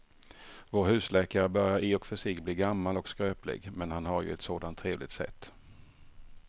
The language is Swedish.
Vår husläkare börjar i och för sig bli gammal och skröplig, men han har ju ett sådant trevligt sätt!